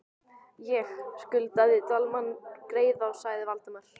. ég skuldaði Dalmann greiða sagði Valdimar.